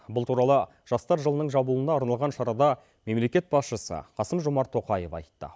бұл туралы жастар жылының жабылуына арналған шарада мемлекет басшысы қасым жомарт тоқаев айтты